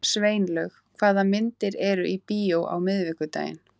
Sveinlaug, hvaða myndir eru í bíó á miðvikudaginn?